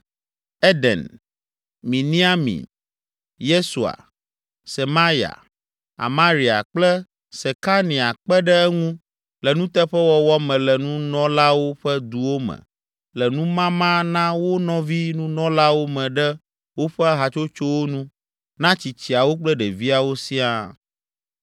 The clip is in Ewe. Eden, Miniamin, Yesua, Semaya, Amaria kple Sekania kpe ɖe eŋu le nuteƒewɔwɔ me le nunɔlawo ƒe duwo me le numama na wo nɔvi nunɔlawo me ɖe woƒe hatsotsowo nu na tsitsiawo kple ɖeviawo siaa.